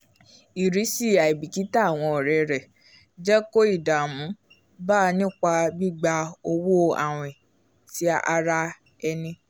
irisi aibikita awọn ọrẹ rẹ jẹ ko ìdààmú bá nípa gbigba owó awin ti àrà ẹni